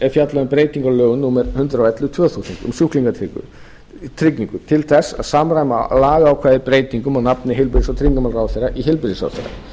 er fjallað um breytingu á lögum númer hundrað og ellefu tvö þúsund um sjúklingatryggingu til þess að samræma lagaákvæði breytingum og nafni heilbrigðis og tryggingamálaráðherra í heilbrigðisráðherra